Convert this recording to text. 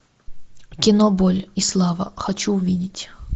кино боль и слава хочу увидеть